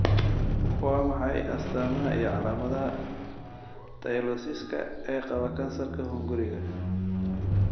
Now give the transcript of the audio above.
Waa maxay astamaha iyo calaamadaha Tylosiska ee qaba kansarka hunguriga?